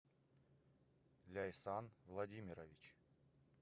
ляйсан владимирович